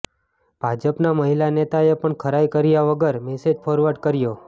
ભાજપના મહિલા નેતાએ પણ ખરાઈ કર્યા વગર મેસેજ ફોરવર્ડ કર્યો